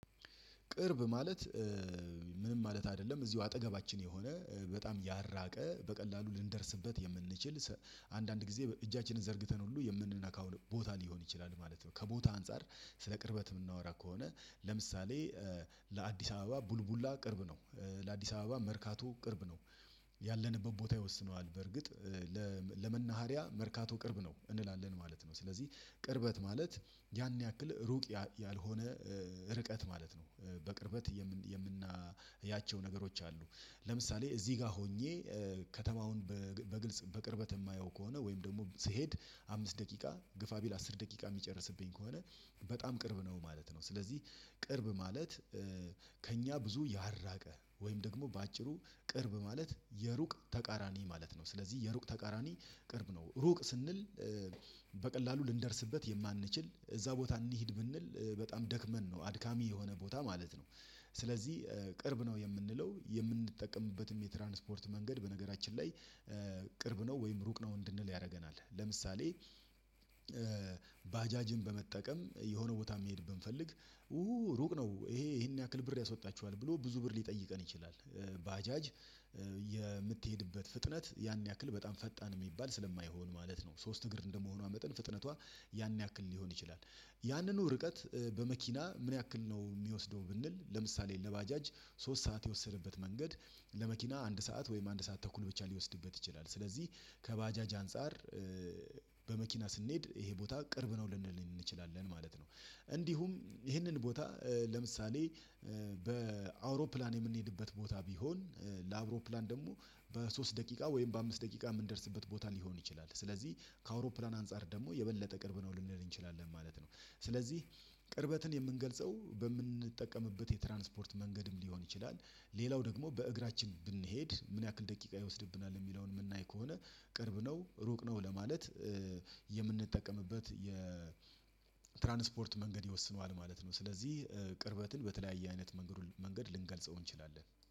ቅርብ ማለት ምንም ማለት አይደለም እዚሁ አጠገባችን የሆነ በጣም ያልራቀ በቀላሉ ልንደርስበት የምንችል አንዳንድ ጊዜ እጃችንን ዘርግተን ሁሉ የምንነካው ቦታ ሊሆን ይችላል ማለት ነው። ከቦታ አንፃር ስለ ቅርበት ምናወራ ከሆነ ለምሳሌ ለአዲስ አበባ ቡልቡላ ቅርብ ነው። ለአዲስ አበባ መርካቶ ቅርብ ነው። ያለንበት ቦታ ይወስነዋል በርግጥ ለመናሃሪያ መርካቶ ቅርብ ነው እንላለን ማለት ነው። ስለዚህ ቅርበት ማለት ያን ያክል ሩቅ ያልሆነ ርቀት ማለት ነው። በቅርበት የምናያቸው ነገሮች አሉ። ለምሳሌ እዚህ ጋር ሆኜ ከተማውን በግልጽ በቅርበት የማየው ከሆነ ወይም ደግሞ ስሄድ አምስት ደቂቃ ግፋ ቢል አስር ደቂቃ ሚጨርስብኝ ከሆነ በጣም ቅርብ ነው ማለት ነው። ስለዚህ ቅርብ ማለት ከእኛ ብዙ ያልራቀ ወይም ደግሞ በአጭሩ ቅርብ ማለት የሩቅ ተቃራኒ ማለት ነው። ስለዚህ የሩቅ ተቃራኒ ቅርብ ነው። ሩቅ ስንል በቀላሉ ልንደርስበት የማንችል እዛ ቦታ እንሂድ ብንል በጣም ደክመን ነው አድካሚ የሆነ ቦታ ማለት ነው። ስለዚህ ቅርብ ነው የምንለው የምንጠቀምበትም የትራንስፖርት መንገድ በነገራችን ላይ ቅርብ ነው ወይም ሩቅ ነው እንድንል ያደርገናል። ለምሳሌ ባጃጅን በመጠቀም የሆነ ቦታ ሚሄድ ብንፈልግ ሩቅ ነው ይሄ ይሄን ያክል ብር ያስወጣችኋል ብሎ ብዙ ብር ሊጠይቀን ይችላል። ባጃጅ የምትሄድበት ፍጥነት ያን ያክል በጣም ፈጣን የሚባል ስለማይሆን ማለት ነው። ሶስት እግር እንደመሆኗ መጠን ፍጥነቷ ያን ያክል ሊሆን ይችላል። ያንኑ ርቀት በመኪና ምን ያክል ነው የሚወስደው ብንል ለምሳሌ ለባጃጅ ሶስት ሰዓት የወሰደበት መንገድ ለመኪና አንድ ሰዓት ወይም አንድ ሰዓት ተኩል ብቻ ሊወስድበት ይችላል። ስለዚህ ከባጃጅ አንፃር በመኪና ስንሄድ ይሄ ቦታ ቅርብ ነው ልንል እንችላለን ማለት ነው። እንዲሁም ይሄንን ቦታ ለምሳሌ በአውሮፕላን የምንሄድበት ቦታ ቢሆን አውሮፕላን ደግሞ በሶስት ደቂቃ ወይም በአምስት ደቂቃ የምንደርስበት ቦታ ሊሆን ይችላል ስለዚህ ከአውሮፕላን አንፃር ደግሞ የበለጠ ቅርብ ነው ልንል እንችላለን ማለት ነው። ስለዚህ ቅርበትን የምንገልጸው በምንጠቀምበት የትራንስፖርት መንገድም ሊሆን ይችላል። ሌላው ደግሞ በእግራችን ብንሄድ ምን ያክል ደቂቃ ይወስድብናል የሚለውን ምናይ ከሆነ ቅርብ ነው ሩቅ ነው ለማለት የምንጠቀምበት የ ትራንስፖርት መንገድ ይወስነዋል ማለት ነው። ስለዚህ ቅርበትን በተለያየ አይነት መንገድ ልንገልጸው እንችላለን